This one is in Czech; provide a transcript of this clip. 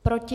Proti?